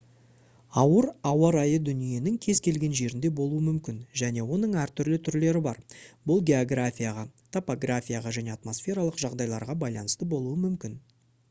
ауыр ауа райы дүниенің кез келген жерінде болуы мүмкін және оның әртүрлі түрлері бар бұл географияға топографияға және атмосфералық жағдайларға байланысты болуы мүмкін